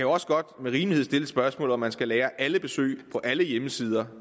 også godt med rimelighed stille det spørgsmål om man skal lagre alle besøg på alle hjemmesider